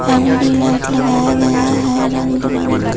L E D light लगाया गया है रंग बिरंग का।